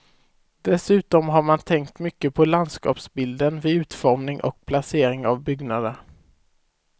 Dessutom har man tänkt mycket på landskapsbilden vid utformning och placering av byggnader.